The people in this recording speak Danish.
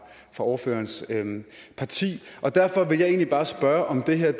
ordførerens parti og derfor vil jeg egentlig bare spørge om det her